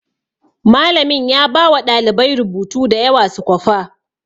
Malamin ya bawa ɗalibai rubutu da yawa su kwafa